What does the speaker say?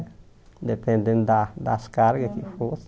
Dependendo da das cargas que fosse.